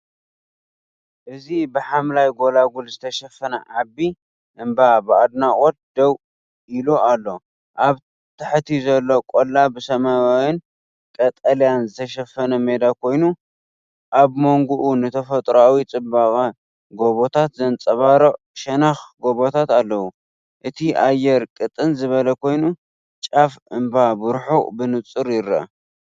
እዚ ብሓምላይ ጎልጎል ዝተሸፈነ ዓቢ እምባ ብኣድናቖት ደው ኢሉ ኣሎ። ኣብ ታሕቲ ዘሎ ቆላ ብሰማያውን ቀጠልያን ዝተሸፈነ ሜዳ ኮይኑ፡ኣብ መንጎኡ ንተፈጥሮኣዊ ጽባቐ ጎቦታት ዘንጸባርቕ ሸነኽ ጎቦታት ኣለዎ። እቲ ኣየር ቅጥን ዝበለ ኮይኑ፡ጫፍ እምባ ብርሑቕ ብንጹር ይርአ።